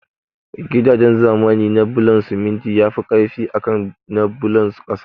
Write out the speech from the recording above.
Gidaje zamani na bulon siminti yafi ƙarfi akan na bulon ƙasa